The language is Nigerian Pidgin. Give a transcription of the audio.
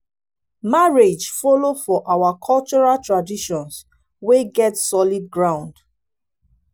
marriage follow for our cultural traditions wey get solid ground.